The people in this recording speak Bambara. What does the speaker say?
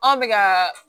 Anw bɛ ka